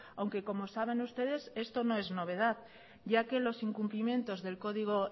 aunque como saben ustedes esto no es novedad ya que los incumplimientos del código